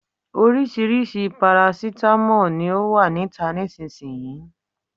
Orisirisi parasitamo ni o wa nita nisiyi.